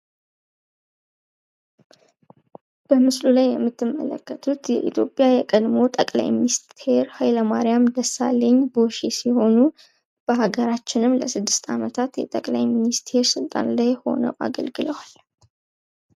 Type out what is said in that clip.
በምስሉ ላይ የምትመለከቱት የኢትዮጽያ የቀድሞ ጠቅላይ ሚኒስቴር ሀይለማርያም ደሳለኝ ቦርሼ ሲሆኑ በሀገራችንም ለ6 አመታት ጠቅላይ ሚኒስቴር ስልጣን ላይ ሁነው አገልግለዋል።